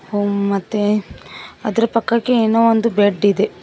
ಹಾ ಮತ್ತೆ ಅದರ ಪಕ್ಕಕ್ಕೆ ಏನೋ ಒಂದು ಬೆಡ್ ಇದೆ.